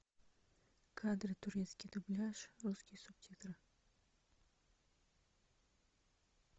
кадры турецкий дубляж русские субтитры